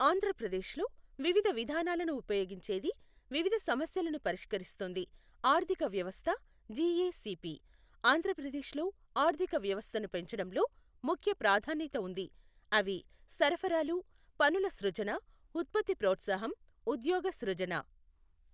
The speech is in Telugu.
ఆంధ్రప్రదేశ్లో వివిధ విధానాలను ఉపయోగించేది, వివిధ సమస్యలను పరిష్కరిస్తుంది ఆర్థిక వ్యవస్థ జీఏసీపీ. ఆంధ్రప్రదేశ్లో ఆర్థిక వ్యవస్థను పెంచడంలో ముఖ్య ప్రాధాన్యత ఉంది. అవి సరఫరాలు పనుల సృజన, ఉత్పత్తి ప్రోత్సాహం, ఉద్యోగ సృజన.